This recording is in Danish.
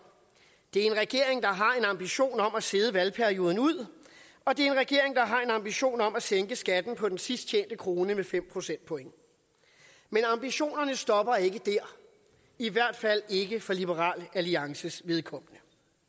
det er en regering en ambition om at sidde valgperioden ud og det er en regering der har en ambition om at sænke skatten på den sidst tjente krone med fem procentpoint men ambitionerne stopper ikke der i hvert fald ikke for liberal alliances vedkommende